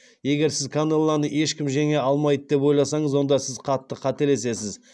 егер сіз канелоны ешкім жеңе алмайды деп ойласаңыз онда сіз қатты қателесесіз